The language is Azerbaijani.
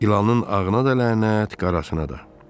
İlanın ağına da lənət, qarasına da.